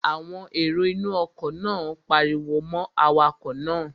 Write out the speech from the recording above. Àwọn èrò inú ọkọ̀ náà pariwo mọ́ awakọ̀ náà